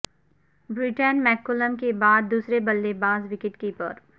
Brendan McCullum کے بعد دوسرے بلے باز وکٹ کیپر